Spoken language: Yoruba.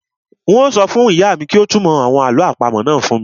Un ó sọ fún ìyá mi kí ó túnmọ̀ àwọn àlọ́ àpamọ́ náà fún mi